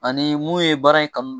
Ani mun ye baara in kanu